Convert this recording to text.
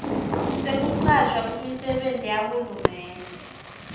sekucashwa kumisebenti yahulumende